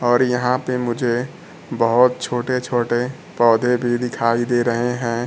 और यहां पे मुझे बहोत छोटे छोटे पौधे भी दिखाई दे रहे है।